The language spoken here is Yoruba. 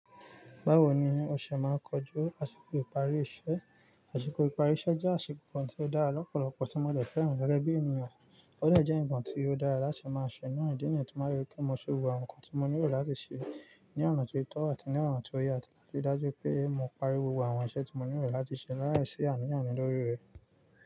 Báwo ni o ṣe máa ń kojú àsìkò ìparí iṣẹ́? Àṣìkò ìparí iṣẹ́ jẹ́ àṣìkò kan tí ó dára lọ́pọ̀lọpọ̀ tí mo lè fẹ́ràn gẹ́gẹ́ bí ènìyàn. Ó lè jẹ́ ǹkan tí ó dára láti máa ṣọ́nà ìdí nìkan máa yẹ kí mo ṣe wo àwọn nǹkan tí mo nílò láti ṣe ní ọ̀nà tó tọ́ àti ní ọ̀nà tó yẹ àti láti ri dájú pé mo pari gbogbo àwọn iṣẹ́ tí mo nílò láti ṣe láì sí àníyàn mí lórí rẹ̀.